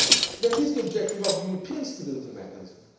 That is the objective of the European Stability Mechanism.